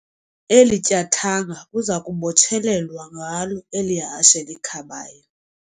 Eli tyathanga kuza kubotshelelwa ngalo eli hashe likhabayo.